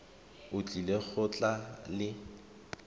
o tlile go tla le